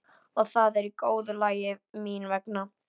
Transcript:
Og það er í góðu lagi mín vegna.